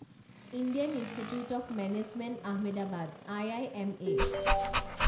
Indian institute of management Ahmedabad I I M A